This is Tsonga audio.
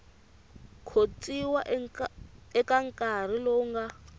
khotsiwa eka nkarhi lowu nga